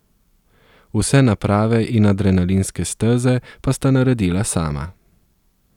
Vse naprave in adrenalinske steze pa sta naredila sama.